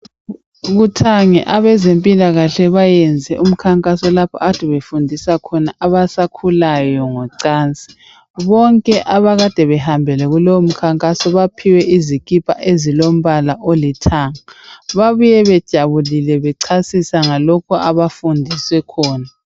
Kuthange abezempilakahle bayenze umkhankaso lapho akade befundisa khona abasakhulayo ngocansi. Bonke akade behambile kulowo mkhankaso baphiwe izikipa ezilombala olithanga. Babuye bejabulile bechasisa lokho abafundiswe khona.